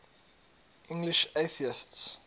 english atheists